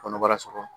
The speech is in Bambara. Kɔnɔbara sɔgɔ